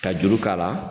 Ka juru k'a la